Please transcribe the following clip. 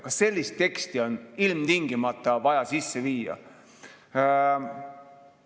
Kas sellist teksti on ilmtingimata vaja siia sisse viia?